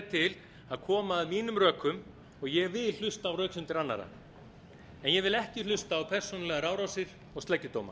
til að koma að mínum rökum og ég vil hlusta á röksemdir annarra en ég vil ekki hlusta á persónulegar árásir og sleggjudóma